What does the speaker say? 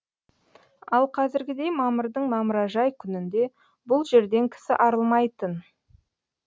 ал қазіргідей мамырдың мамыражай күнінде бұл жерден кісі арылмайтын